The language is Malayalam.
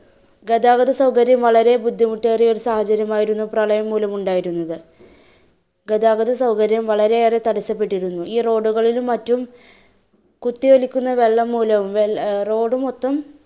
ഗതാഗത സൗകര്യം വളരെ ബുദ്ധിമുട്ടേറിയ ഒരു സാഹചര്യമായിരുന്നു പ്രളയംമൂലം ഉണ്ടായിരുന്നത്. ഗതാഗത സൗകര്യം വളരെയേറെ തടസപ്പെട്ടിരുന്നു. ഈ road കളിലും മറ്റും കുത്തിയൊലിക്കുന്ന വെള്ളം മൂലവും വെ~ അഹ് road മൊത്തം